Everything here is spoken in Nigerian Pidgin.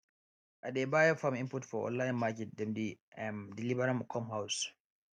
i dey buy farm input for online market dem dey um deliver am come house